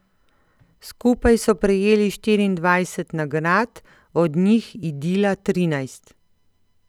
Skupaj so prejeli štirindvajset nagrad, od njih Idila trinajst.